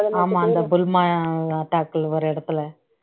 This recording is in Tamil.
ஆமா அந்த புல்மா attack ல ஒரு இடத்துல